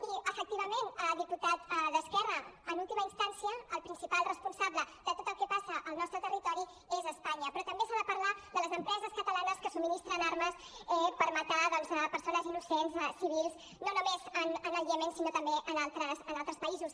i efectivament diputat d’esquerra en última instància el principal responsable de tot el que passa al nostre territori és espanya però també s’ha de parlar de les empreses catalanes que subministren armes per matar doncs persones innocents civils no només en el iemen sinó també en altres països